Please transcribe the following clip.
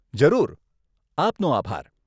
જરૂર, આપનો આભાર.